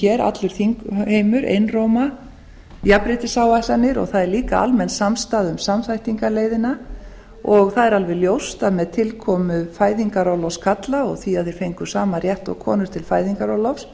hér allur þingheimur einróma jafnréttisáætlanir og það er líka almenn samstaða um samþættingarleiðina að er alveg ljóst að með tilkomu fæðingarorlofs karla og því að þeir fengu sama rétt og konur til fæðingarorlofs